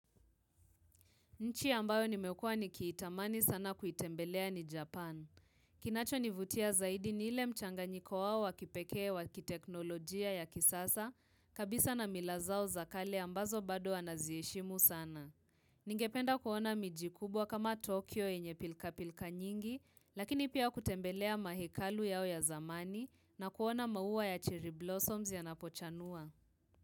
Nchi ambayo nimekua nikiitamani sana kuitembelea ni Japan. Kinachonivutia zaidi ni ile mchanganyiko wao wa kipekee wa kiteknolojia ya kisasa, kabisa na mila zao za kale ambazo bado wanaziheshimu sana. Ningependa kuona miji kubwa kama Tokyo yenye pilka pilka nyingi, lakini pia kutembelea mahekalu yao ya zamani na kuona maua ya chiriblossoms yanapochanua.